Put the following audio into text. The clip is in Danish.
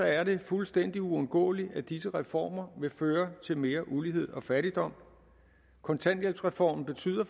er det fuldstændig uundgåeligt at disse reformer vil føre til mere ulighed og fattigdom kontanthjælpsreformen betyder